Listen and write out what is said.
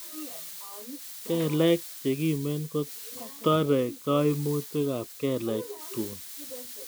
Kelek chekimen kotere kaimutietab kelek tun